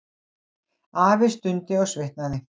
Afi stundi og svitnaði.